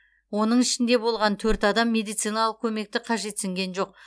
оның ішінде болған төрт адам медициналық көмекті қажетсінген жоқ